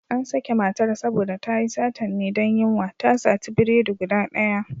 An sake matar saboda tayi satan ne don yunwa, ta sati biredi guda ɗaya.